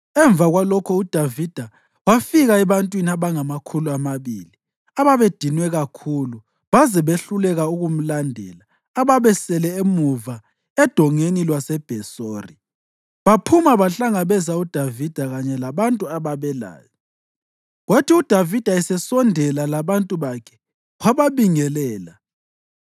Emva kwalokho uDavida wafika ebantwini abangamakhulu amabili ababedinwe kakhulu baze behluleka ukumlandela ababesele emuva eDongeni lwaseBhesori. Baphuma bahlangabeza uDavida kanye labantu ababelaye. Kwathi uDavida esesondela labantu bakhe, wababingelela.